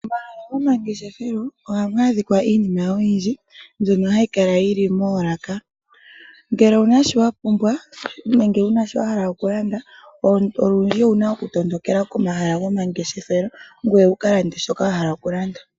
Momahala gomangeshefelo oha mu adhika iinima oyindji mbyono hayi kala yili moolaka. Ngele owu na shi wapumbwa nenge wu na shi wahala oku landa ,olundji owu na oku tondokela pomahala go mangeshefelo ngweye wu ka lande shoka wa hala oku landa.